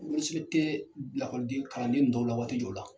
tɛ lakɔliden kalanden dɔw la waati jɔ la.